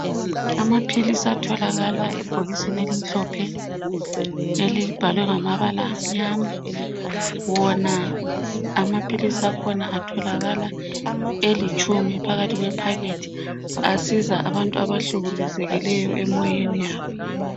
Amaphilisi atholakala ebhokisini elimhlophe elibhalwe ngamabala amnyama wona amaphilisi akhona atholakala elitshumi phakathi kwephakethi. Asiza abantu abahlukuluzekileyo emoyeni yabo